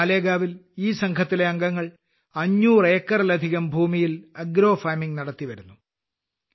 നാസിക്കിലെ മാലേഗാവിൽ ഈ സംഘത്തിലെ അംഗങ്ങൾ 500 ഏക്കറിലധികം ഭൂമിയിൽ ആഗ്രോ ഫാർമിംഗ് നടത്തിവരുന്നു